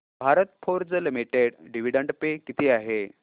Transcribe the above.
Bharat Forge Limited dividend pay किती आहे